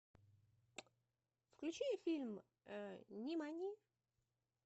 включи фильм нимани